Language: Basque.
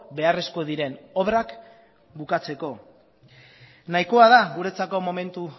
beharrezko diren obrak bukatzeko nahikoa da guretzako momentu